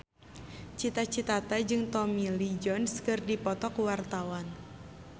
Cita Citata jeung Tommy Lee Jones keur dipoto ku wartawan